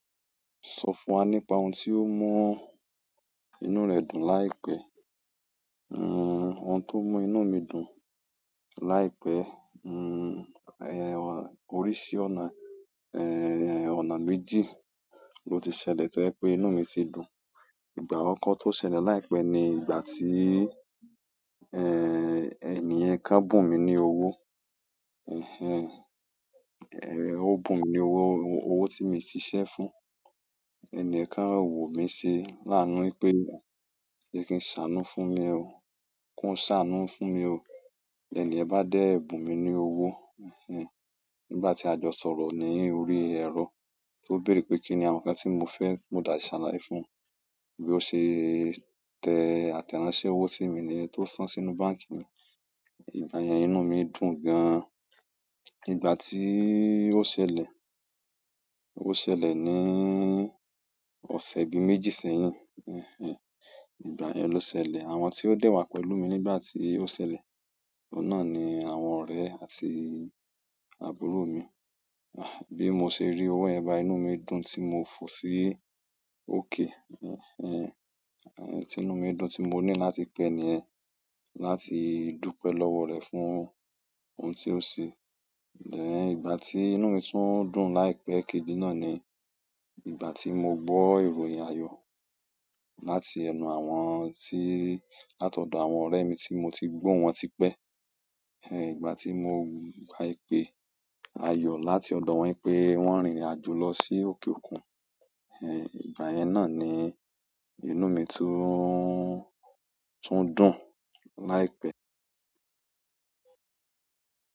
Sọ fún wa nípa ohun tó mú inú rẹ dùn láìpẹ́. Nn, ohun tó mú inú mi dùn láìpẹ́, nn, òrísì ọ̀nà, eh, ọ̀nà méjì ló ti ṣẹlẹ̀ tó jẹ pé inú mi si dùn. Ìgbà akọkọ́ tó ṣẹlẹ̀ láìpẹ́ ni ìgbà tí, eh, ènìyàn kan bùn mí ní owó, eh, eh, o bù mí ní owó, owó tí mio siṣẹ́ fún. Ẹniyẹn kan wo mi se laanu pé, "je kí n sanù fún mi o. Kún sanù fún mi o." Ènìyàn bá dẹ bùn mí ní owó, ehin. Nígbà tí a jọ sọ̀rọ̀ ní orí ẹ̀rọ, o béèrè pé kí ni àwọn nǹkan tí mo fẹ́, mo dáa ṣàlàyé fún un. Bí o ṣe tẹ àtẹ̀ránsẹ́ owó si mi niyẹn tó san sínú báǹkì mi. Ìgbà yẹn inú mi dùn gan. Ìgbà tí o ṣẹlẹ̀, o ṣẹlẹ̀ ní ọ̀sẹ̀ bí méjì sẹ́yìn, ehn. Ìgbà yẹn ló ṣẹlẹ̀. Àwọn ti o dẹ wa pẹ̀lú mi nígbà ti o sẹlẹ oun náà ni àwọn ọrẹ àti àbúrò mi bí mo ṣe rí owó yẹn báyìí inú mi dùn tí mo fò sí òkè, ehn, tí inú mi dùn tí mo ní láti pe ẹniyẹn, láti dúpẹ́ lọ́wọ́ rẹ̀ fún ohun tí o se. Ẹn ẹn, ìgbà ti inú mi tun dùn láìpẹ́ kejì náà ni ìgbà ti mo gbọ ìròyìn ayọ láti ẹnu àwọn ti l'atọdọ àwọn ọrẹ mi ti mo ti gbohun wọn tipẹ. Ehn, ìgbà tí mo gba ìpè ayọ̀ láti ọ̀dọ̀ wọ́n pé wọ́n rìnrìn àjò lọ sí òkè òkun, ehn, ìgbà yẹn náà ni inú mi tún, tún dùn láìpẹ́.